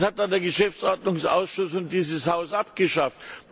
Das hat dann der Geschäftsordnungsausschuss und dieses Haus abgeschafft.